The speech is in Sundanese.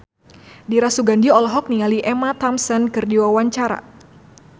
Dira Sugandi olohok ningali Emma Thompson keur diwawancara